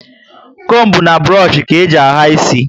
Combu na burush ka eji ahà isi